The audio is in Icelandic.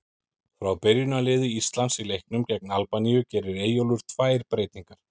Frá byrjunarliði Íslands í leiknum gegn Albaníu gerir Eyjólfur tvær breytingar.